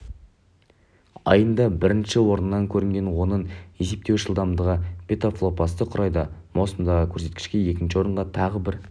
айында бірінші орыннан көрінген оның есептеуіш жылдамдығы петафлопсты құрайды маусымдағы көрсеткіште екінші орынға тағы бір